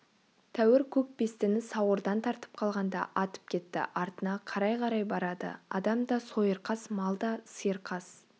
тәуір көк бестіні сауырдан тартып қалғанда атып кетті артына қарай-қарай барады адамда сойырқас малда сиыр қас